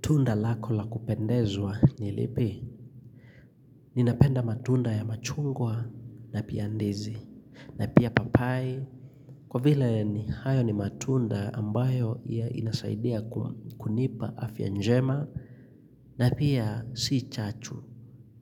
Tunda lako la kupendezwa ni lipi?. Ninapenda matunda ya machungwa na pia ndizi. Na pia papai. Kwa vile ni hayo ni matunda ambayo yanisaidia kunipa afya njema. Na pia si chachu.